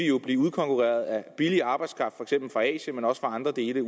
jo blive udkonkurreret af billig arbejdskraft for eksempel fra asien men også fra andre dele